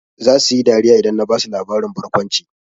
Zasu yi dariya idan na basu labarin barkwanci.